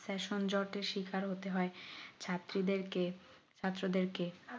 সংযতের শিকার হতে হয় ছাত্রী দের কে ছাত্রদের কে